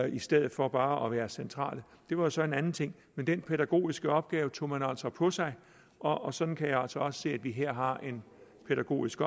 i stedet for bare at være centrale var så en anden ting men den pædagogiske opgave tog man altså på sig og og sådan kan jeg altså se at vi her har en pædagogisk